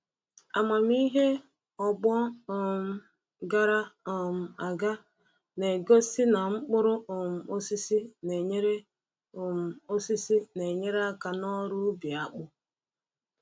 Amamihe ọgbọ um gara um aga na-egosi na mkpụrụ um osisi na-enyere um osisi na-enyere aka n’ọrụ ubi akpụ.